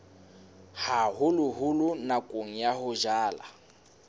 haholoholo nakong ya ho jala